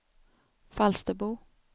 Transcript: Falsterbo